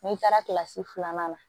N'i taara kilasi filanan na